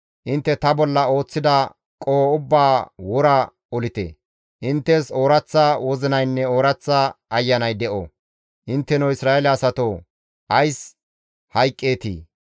Intte ta bolla ooththida qoho ubbaa wora olite; inttes ooraththa wozinaynne ooraththa ayanay de7o; intteno Isra7eele asatoo ays hayqqeetii?